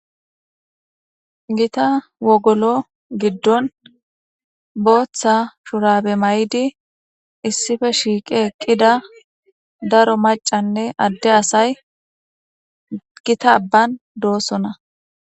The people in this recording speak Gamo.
Gita wogolo giddon booththa shurabe may'di issife shiiqi eqqida daro macanne adde asay gita abban doosona.